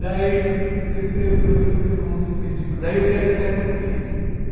Daí, no terceiro programa, eu cantei uma música de... Daí eu queria cantar em português.